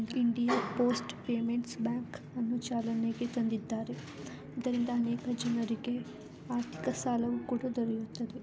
India post payments bank ಅನ್ನು ಚಾಲನೆಗೆ ತಂದಿದ್ದಾರೆ. ಇದರಿಂದ ಅನೇಕ ಜನರಿಗೆ ಆರ್ಥಿಕ ಸಾಲವು ಕೂಡ ದೊರೆಯುತ್ತದೆ.